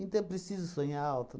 Então, é preciso sonhar alto?